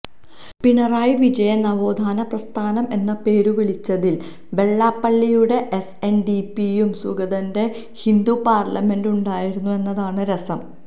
പിണറായി വിജയൻ നവോത്ഥാന പ്രസ്ഥാനം എന്ന് പേരുവിളിച്ചതിൽ വെള്ളാപ്പള്ളിയുടെ എസ്എൻഡിപിയും സുഗതന്റെ ഹിന്ദു പാർലമെന്റും ഉണ്ടായിരുന്നു എന്നതാണ് രസം